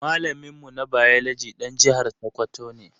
Malamin mu na biology ɗan jihar sakwwato ne